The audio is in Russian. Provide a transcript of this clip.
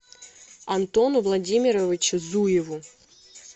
антону владимировичу зуеву